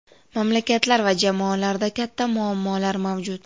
mamlakatlar va jamoalarda katta muammolar mavjud.